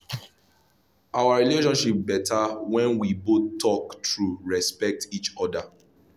our relationship better when we both talk true respect each other.